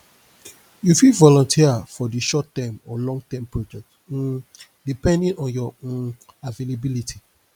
you fit volunteer for di shortterm or longterm project um depending on your um availability